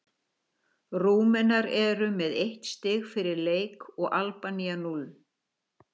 Rúmenar eru með eitt stig fyrir leik og Albanía núll.